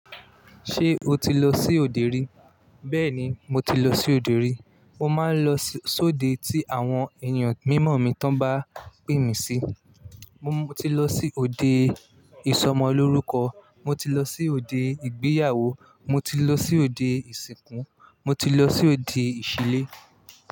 Ṣé o ti lọ sí òde rí? Bẹ́ẹ̀ni, mo ti lọ sí òdo rí. Mo máa ń lọ sóde tí àwọn èèyàn mímọ̀ mi tán bá pè mí sí. Mo ti lọ sí òde ìsọmọlórúkọ, mo ti lọ sí òde ìgbéyàwó, mo ti lọ sí òde ìsìnkú, mo ti lọ sí òde ìṣílé.